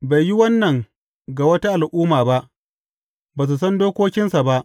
Bai yi wannan ga wata al’umma ba; ba su san dokokinsa ba.